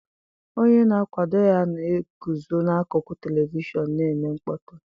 Onye na-akwado ya na-eguzo n'akụkụ telivishọn na-eme mkpọtụ.